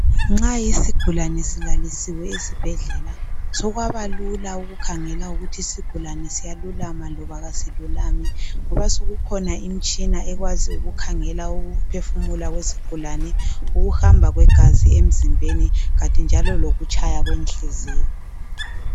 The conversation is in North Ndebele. Nxa isigulane silalisiwe esibhedlela sokwabalula ukukhangela ukuthi isigulane siyalulama loba kasilulami ngoba sokukhona imitshina ekwazi ukukhangela ukuphefumula kwesigulane, ukuhamba kwegazi emzimbeni kanti njalo lokutshaya kwenhliziyo.